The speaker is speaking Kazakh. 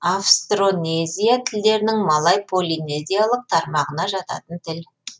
австронезия тілдерінің малай полинезиялық тармағына жататын тіл